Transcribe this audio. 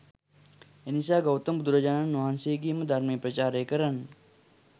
එනිසා ගෞතම බුදුරජාණන් වහන්සේගේම ධර්මය ප්‍රචාරය කරන්න